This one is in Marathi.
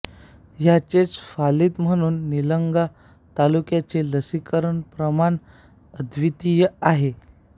याचेच फलित म्हणून निलंगा तालुक्याचे लसीकरण प्रमाण अद्वितीय आहे